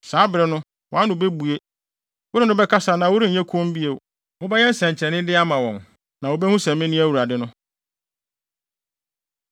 Saa bere no, wʼano bebue, wo ne no bɛkasa na worenyɛ komm bio. Wobɛyɛ nsɛnkyerɛnnede ama wɔn, na wobehu sɛ mene Awurade no.”